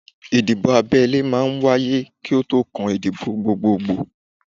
Ìdìbò abẹ́lé máa ń wáyé kí ó tó kan ìdìbò gbogbogbò